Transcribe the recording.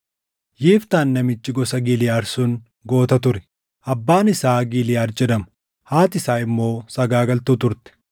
Yiftaan namichi gosa Giliʼaad sun goota ture. Abbaan isaa Giliʼaad jedhama; haati isaa immoo sagaagaltuu turte.